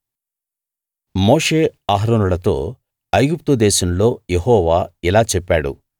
మోషే అహరోనులతో ఐగుప్తు దేశంలో యెహోవా ఇలా చెప్పాడు